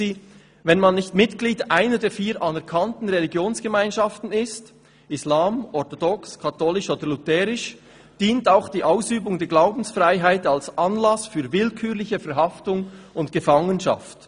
«Wenn man nicht Mitglied einer der vier anerkannten Religionsgemeinschaften ist – Islam, eritreisch-orthodox, römisch-katholisch und evangelischlutherische Kirche –, dient auch die Ausübung der Religionsfreiheit als Anlass für willkürliche Verhaftung und Gefangenschaft.